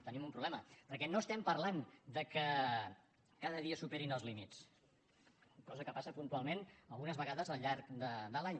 tenim un problema perquè no parlem del fet que cada dia es superin els límits cosa que passa puntualment algunes vegades al llarg de l’any